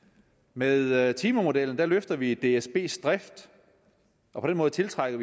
med timemodellen løfter vi dsbs drift og på den måde tiltrækker